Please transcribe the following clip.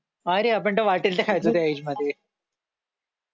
अरे आपण तर वाटल त खायचो त्या इज मध्ये